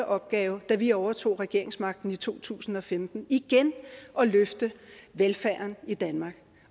opgave da vi overtog regeringsmagten i to tusind og femten igen at løfte velfærden i danmark